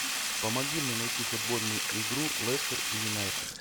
помоги мне найти футбольную игру лестер и юнайтед